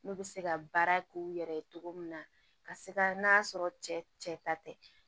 N'u bɛ se ka baara k'u yɛrɛ ye cogo min na ka se ka n'a sɔrɔ cɛ ta tɛ